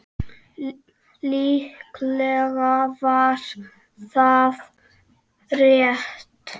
Líklega var það rétt.